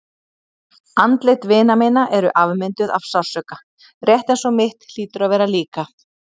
Andlit vina minna eru afmynduð af sársauka, rétt eins og mitt hlýtur að vera líka.